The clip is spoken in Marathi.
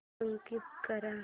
स्कीप कर